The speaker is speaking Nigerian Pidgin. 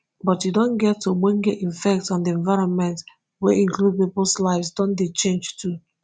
but e don get ogbonge effect on di environment wey include pipo lives don dey change too